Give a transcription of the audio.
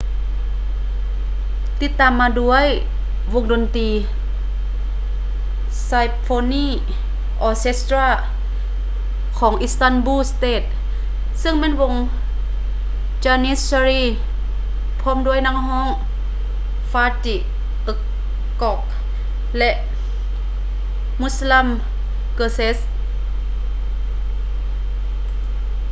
ຕິດຕາມມາດ້ວຍໂດຍວົງດົນຕີ symphony orchestra ຂອງ istanbul state ເຊິ່ງແມ່ນວົງ janissary ພ້ອມດ້ວຍນັກຮ້ອງ fatih erkoç ແລະ müslüm gürses